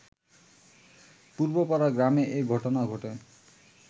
পূর্বপাড়া গ্রামে এ ঘটনা ঘটে